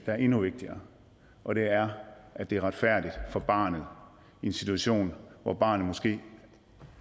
er endnu vigtigere og det er at det er retfærdigt for barnet i en situation hvor barnet måske